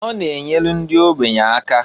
Ọ na-enyelu ndị ogbenye aka.